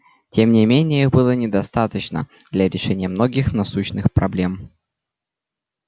тем не менее их было недостаточно для решения многих насущных проблем